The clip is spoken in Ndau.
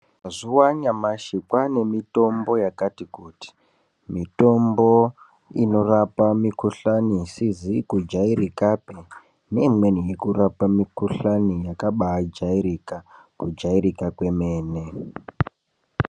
Mazuva anyamashi kwaanemitombo yakati kuti. Mitombo inorapa mikuhlani isizi kujairikapi neimweni yekurapa mikuhlani yakabaajairika, kujairika kwemene.